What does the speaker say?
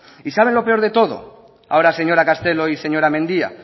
y saben lo peor de todo ahora señora castelo y señora mendia